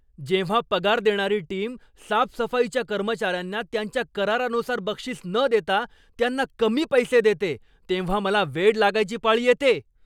जेव्हा पगार देणारी टीम साफसफाईच्या कर्मचाऱ्यांना त्यांच्या करारानुसार बक्षीस न देता त्यांना कमी पैसे देते तेव्हा मला वेड लागायची पाळी येते.